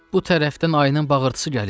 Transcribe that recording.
Bu tərəfdən ayının bağırtısı gəlir.